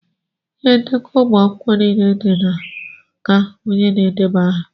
Ihe ndekọ ụmụ akwụkwọ niile dị naka onye na-edeba aha.